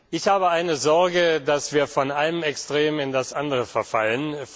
Ich habe eine Sorge, dass wir von einem Extrem in das andere verfallen.